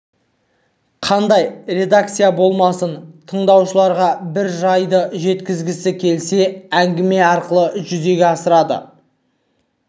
қандай редакция болмасын тыңдаушыларға бір жайды жеткізгісі келсе әңгіме арқылы жүзеге асырады